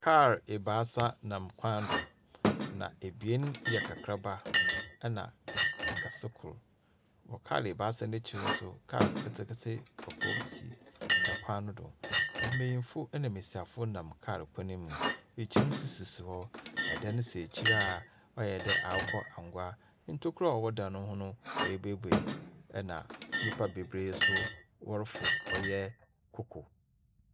Kaal ebaasa nam kwan do, na ebien yɛ nkakraba, na kɛse kor. Wɔ kaal ebaasa no ekyir no nso kaal ketseketse kɔkɔɔ si kwan no do. Mbenyinfo na mbesiafp nam kaal kwan mu. Kyim nso sisi hɔ. Dan si ekyir a ɔayɛ dɛ akokɔangua. Ntokua a ɔwɔ dan no ho no. woebueibuei, ɛna nyimpa beberee nso wɔrofor ɔyɛ kokow.